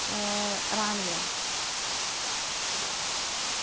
ഏർ റാണിയോ